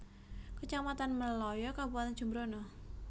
Kecamatan Melaya Kabupatèn Jembrana